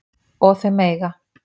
Og þau mega